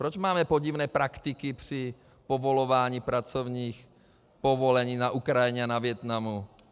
Proč máme podivné praktiky při povolování pracovních povolení na Ukrajině a ve Vietnamu?